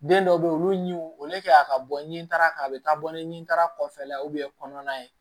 Den dɔw bɛ yen olu ɲi olu kɛya ka bɔ ɲintara ka taa bɔ ni taara kɔfɛla ye kɔnɔna ye